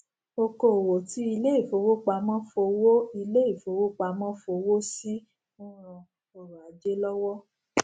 okoòwò tí ilé ìfowópamó fowó ilé ìfowópamó fowó sí n ran ọrò ajé lówó